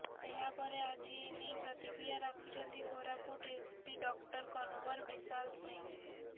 ଏହା ପରେ ଆଜି ଏ ନେଇ ପ୍ରତିକ୍ରିୟା ରଖିଛନ୍ତି କୋରାପୁଟ ଏସପି ଡକ୍ଟର କନୱର ବିଶାଲ ସିଂ